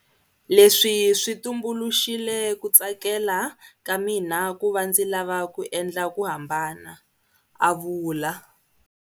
Leswi swi tumbuluxile ku tsakela ka mina ku va ndzi lava ku endla ku hambana, a vula.